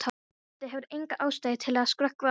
Doddi hefur enga ástæðu til að skrökva að honum.